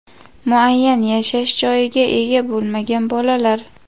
muayyan yashash joyiga ega bo‘lmagan bolalar;.